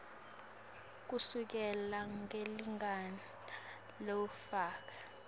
kusukela ngelilanga lowafaka